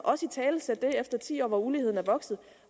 italesætte det efter ti år hvor uligheden er vokset og